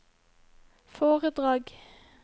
foredrag